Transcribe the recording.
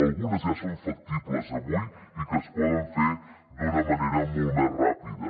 algunes ja són factibles avui i es poden fer d’una manera molt més ràpida